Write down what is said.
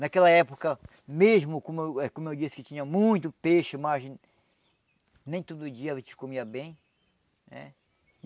Naquela época mesmo, como eu eh como eu disse, que tinha muito peixe, mas nem todo dia a gente comia bem eh.